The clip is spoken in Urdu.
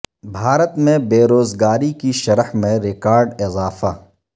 بھارت میں بے روزگاری کی شرح میں ریکارڈ اضافہ